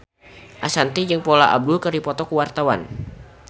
Ashanti jeung Paula Abdul keur dipoto ku wartawan